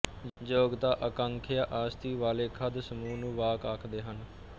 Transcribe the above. ਯੋਗਤਾ ਆਕਾਂਖਿਆ ਆਸੱਤੀ ਵਾਲੇ ਪਦ ਸਮੂਹ ਨੂੰ ਵਾਕ ਆਖਦੇ ਹਨ